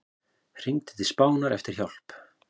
Hringdi til Spánar eftir hjálp